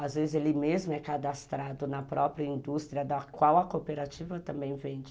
Às vezes ele mesmo é cadastrado na própria indústria da qual a cooperativa também vende.